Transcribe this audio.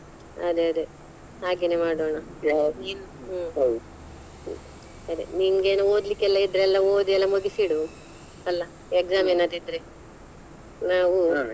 ಅದೆ ಅದೆ ಹಾಗೇನೇ ಮಾಡೋಣ ಹು ಸರಿ ನಿಂಗೆ ಏನು ಓದ್ಲಿಕ್ಕೆಲ್ಲ ಇದ್ರೆ ಎಲ್ಲಾ ಓದಿ ಎಲ್ಲಾ ಮುಗಿಸಿ ಇಡು ಅಲ್ಲಾ exam ಏನಾದ್ರು ಇದ್ರೆ ನಾವು.